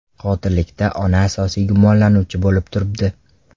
Qotillikda ona asosiy gumonlanuvchi bo‘lib turibdi.